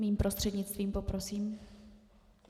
Mým prostřednictvím, poprosím.